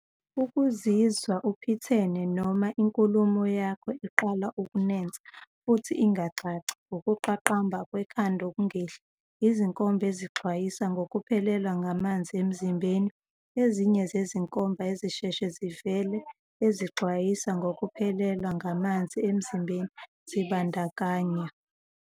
Ukuzizwa uphithene noma inkulumo yakho iqala ukunensa futhi ingacaci. Ukuqaqamba kwekhanda okungehli. Izinkomba ezixwayisa ngokuphelelwa ngamanzi emzimbeni. Ezinye zezinkomba ezisheshe zivele ezixwayisa ngokuphelelwa ngamanzi emzimbeni zibandakanya.